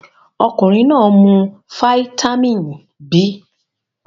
Ọkunrin naa mu fáítámínì B